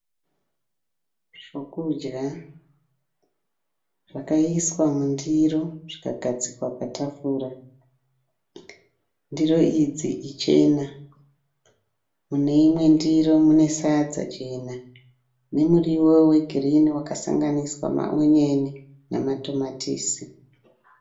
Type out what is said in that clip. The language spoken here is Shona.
Zvokudya zvakaiswa mundiro zvikagadzikwa patafura. Ndiro idzi ichena. Mune imwe ndiro mune sadza jena nemuriwo wegirinhi wakasanganiswa maonyeni nematomatisi.